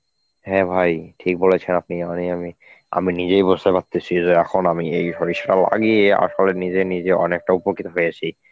হ্যাঁ ভাই ঠিক বলেছেন আপনি এহনই আমি আমি নিজেই মারতেছি যে এখন আমি এই সরিষা লাগিয়ে আসলে নিজে নিজে অনেকটা উপকৃত হয়েছি.